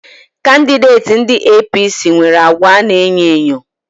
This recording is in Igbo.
Kandideti ndị APC nwere àgwà ana e nyo enyo